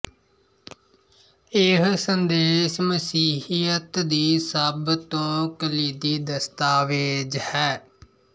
ਇਹ ਸੰਦੇਸ ਮਸੀਹੀਅਤ ਦੀ ਸਭ ਤੋਂ ਕਲੀਦੀ ਦਸਤਾਵੇਜ਼ ਹੈ